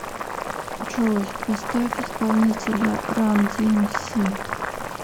джой поставь исполнителя ран диэмси